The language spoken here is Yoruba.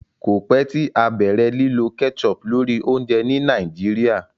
kọ pẹ tí a bẹrẹ lilọ ketchup lórí oúnjẹ ní Nigeria